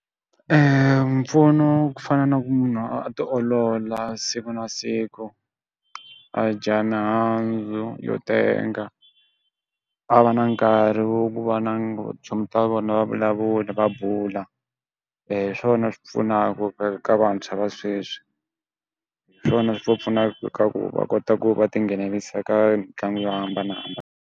mpfuno wa ku fana na ku munhu a a ti olola siku na siku, a dya mihandzu yo tenga, a va na nkarhi wo ku va na chomi ta vona va vulavula va bula. Hiswona swi va pfunaka ka vantshwa va sweswi. Hiswona swi va pfuna ka ku va kota ku va ti nghenelerisa ka mitlangu yo hambanahambana.